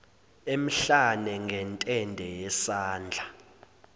emhlane ngentende yesandla